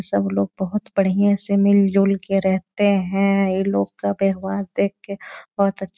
सब लोग बहोत बढ़िया से मिल-जुल के रहते हैं ये लोग का व्यवहार देख के बहोत अ --